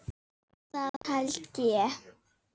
Það held ég